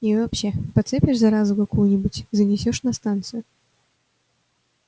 и вообще подцепишь заразу какую-нибудь занесёшь на станцию